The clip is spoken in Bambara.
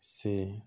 Se